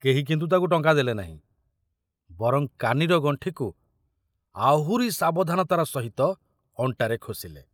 କେହି କିନ୍ତୁ ତାକୁ ଟଙ୍କା ଦେଲେନାହିଁ, ବରଂ କାନିର ଗଣ୍ଠିକୁ ଆହୁରି ସାବଧାନତାର ସହିତ ଅଣ୍ଟାରେ ଖୋସିଲେ।